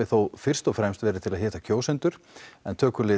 fyrst og fremst verið til að hitta kjósendur en tökulið